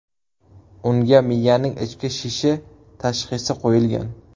Unga miyaning ichki shishi tashxisi qo‘yilgan.